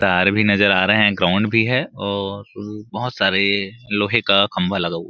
तार भी नज़र आ रहे है ग्राउंड भी हैं और अ बहोत सारे लोहे का खंबा लगा हुआ--